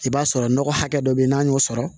I b'a sɔrɔ nɔgɔ hakɛ dɔ bɛ yen n'a y'o sɔrɔ